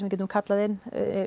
getum kallað inn